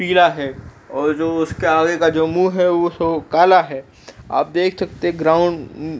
पीला है और जो उसका आगे का जो मुँह है उ तो काला है। आप देख सकते है ग्राउंड उम्म --